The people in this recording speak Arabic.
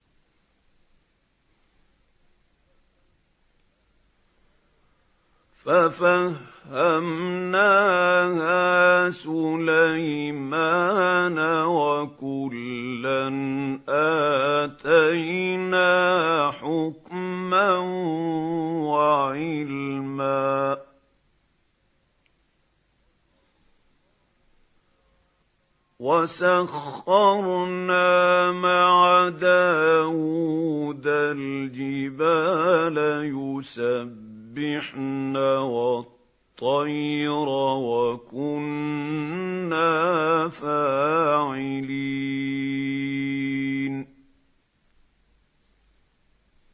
فَفَهَّمْنَاهَا سُلَيْمَانَ ۚ وَكُلًّا آتَيْنَا حُكْمًا وَعِلْمًا ۚ وَسَخَّرْنَا مَعَ دَاوُودَ الْجِبَالَ يُسَبِّحْنَ وَالطَّيْرَ ۚ وَكُنَّا فَاعِلِينَ